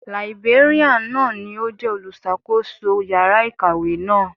Làìbéríàn náà ni ó jẹ́ olùṣàkóso yàrá ìkàwé náà.